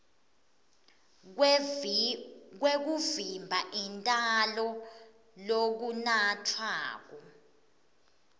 kwekuvimba intalo lokunatfwako